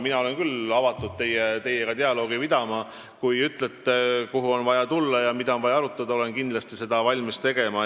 Mina olen küll avatud teiega dialoogi pidama: kui te ütlete, kuhu on vaja tulla ja mida on vaja arutada, olen valmis seda tegema.